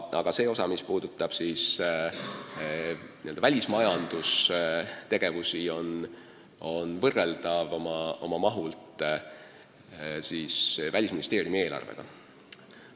Aga see osa, mis puudutab välismajandusega seotud tegevust, on oma mahult võrreldav Välisministeeriumi eelarvega.